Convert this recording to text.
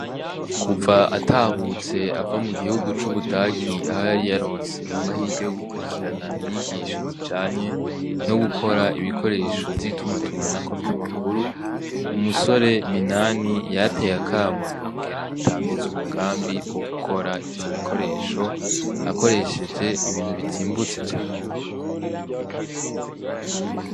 Kuva atahutse ava mugihugu c'Ubudagi aho yari yaronse amahirwe yogukurikirana inyigisho zinyanye no gukora ibikoresho vy'itumatumanako vy'amakuru, umusore Minani yarateye akamo yongera atanguza umugambi wo gukora ivyo bikoresho akoresheje ibintu bizimbutse cane.